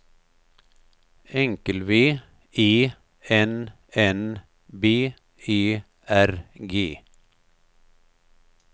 V E N N B E R G